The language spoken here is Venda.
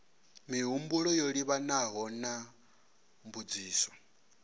mihumbulo yo livhanaho na mbudziso